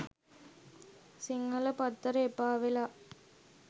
සිංහල පත්තර එපාවෙලා